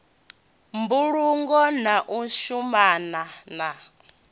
mbulungo na u shumana na